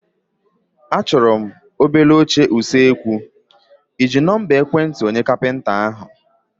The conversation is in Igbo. Achọrọ m obele oche kichin, ịji nọmba ekwentị onye kapịnta ahụ?